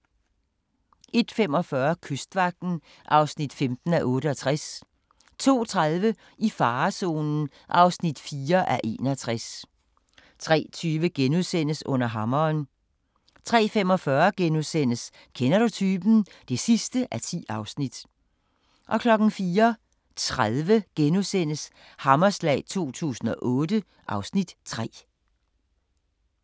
01:45: Kystvagten (15:68) 02:30: I farezonen (4:61) 03:20: Under hammeren * 03:45: Kender du typen? (10:10)* 04:30: Hammerslag 2008 (Afs. 3)*